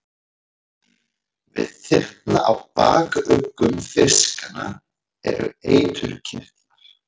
Við þyrna á bakuggum fiskanna eru eiturkirtlar.